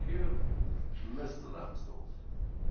Herr Präsident, meine Damen und Herren!